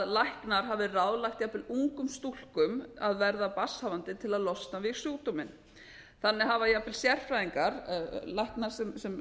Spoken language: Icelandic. læknar hafi ráðlagt jafnvel ungum stúlkum að verða barnshafandi til að losna við sjúkdóminn þannig hafa jafnvel sérfræðingar læknar sem